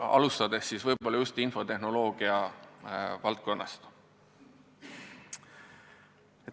Alustada võiks võib-olla just infotehnoloogia valdkonnast.